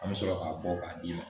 An bɛ sɔrɔ k'a bɔ k'a d'i ma